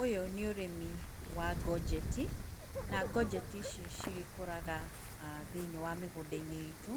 Ũyũ nĩ ũrĩmi wa ngojeti, na ngojeti ici ncigĩkũraga thĩinĩ wa mĩgũda-inĩ itũ